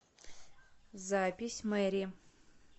запись мэри